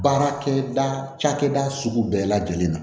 Baarakɛda ca cakɛda sugu bɛɛ lajɛlen na